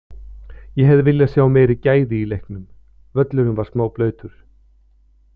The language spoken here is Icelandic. Ég hefði viljað sjá meiri gæði í leiknum, völlurinn var smá blautur.